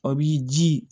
A b'i ji